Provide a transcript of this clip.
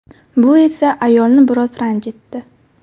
Bu esa ayolni biroz ranjitdi.